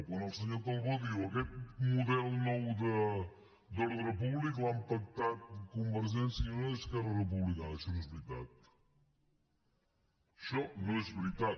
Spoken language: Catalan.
quan el senyor calbó diu aquest model nou d’ordre públic l’han pactat convergència i unió i esquerra republicana això no és veritat això no és veritat